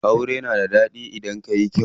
Aure na da ɗaɗi idan yayi kyau.